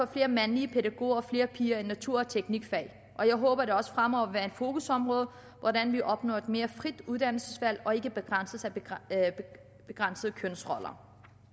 flere mandlige pædagoger og flere piger ind på natur og teknikfag og jeg håber det også fremover vil være et fokusområde hvordan vi opnår et mere frit uddannelsesvalg og ikke begrænses af kønsroller